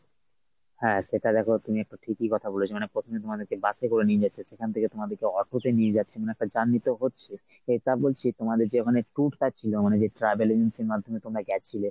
হ্যাঁ সেটা দেখ তুমি একটা ঠিকই কথা বলেছো মানে প্রথমদিন তোমাদের bus এ করে নিয়ে যাচ্ছে, সেখান থেকে তোমাদেরকে auto তে নিয়ে যাচ্ছে মানে একটা journey তো হচ্ছে, এটা বলছি তোমাদের যে মানে tour টা ছিল মানে যে travel agencyর মাধ্যমে তোমরা গেছিলে